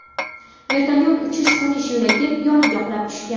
Vertolyot uchish-qo‘nish yo‘lagi yoniga qulab tushgan.